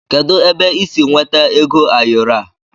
Kedụ ebe ị sị nweta ego ayoro a?